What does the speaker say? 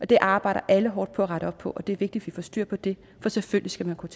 det arbejder alle hårdt på at rette op på og det er vigtigt at vi får styr på det for selvfølgelig skal man kunne